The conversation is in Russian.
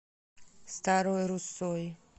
старой руссой